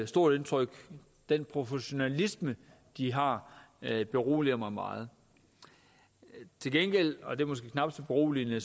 stort indtryk den professionalisme de har beroliger mig meget til gengæld og det er måske knap så beroligende